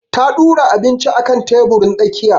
Ta ɗura abinci akan teburin tsakiya